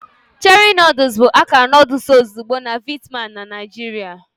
Cherie noodles bụ akara noodle ozugbo na Vietnam na Naijiria.